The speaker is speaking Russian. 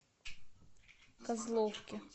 козловки